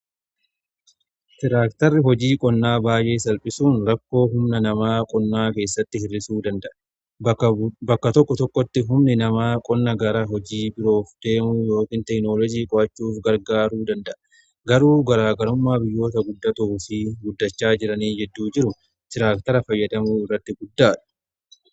Tiraaktarri hojii qonnaa baay'ee salphisuun rakkoo humna namaa qonnaa keessatti hir'isuu danda'a. Bakka tokko tokkotti humni namaa qonna gara hojii biroof deemuu yookiin teeknoloojii qo'achuuf gargaaruu danda'a. Garuu garaagarummaa biyyoota guddatanii fi guddachaa jiranii jidduu jiru tiraaktara fayyadamuu irratti guddaadha.